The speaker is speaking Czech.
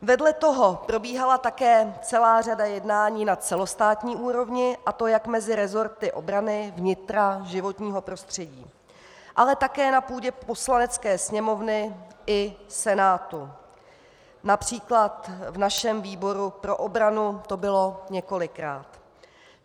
Vedle toho probíhala také celá řada jednání na celostátní úrovni, a to jak mezi resorty obrany, vnitra, životního prostředí, ale také na půdě Poslanecké sněmovny i Senátu, například v našem výboru pro obranu to bylo několikrát.